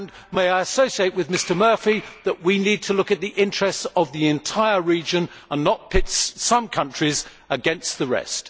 May I associate with Mr Murphy in saying that we need to look at the interests of the entire region and not pit some countries against the rest.